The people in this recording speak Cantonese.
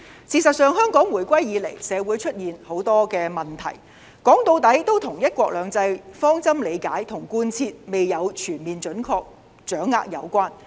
事實上，香港回歸以來社會出現很多的問題，說到底，都與"一國兩制"的方針理解和貫徹未有全面準確掌握有關。